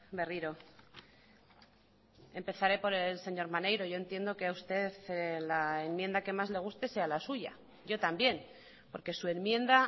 berriro empezaré por el señor maneiro yo entiendo que a usted la enmienda que más le guste sea la suya yo también porque su enmienda